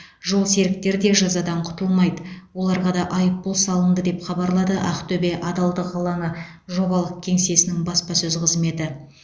жолсеріктер де жазадан құтылмайды оларға да айыппұл салынды деп хабарлады ақтөбе адалдық алаңы жобалық кеңсесінің баспасөз қызметі